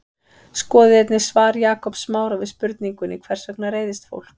Skoðið einnig svar Jakobs Smára við spurningunni Hvers vegna reiðist fólk?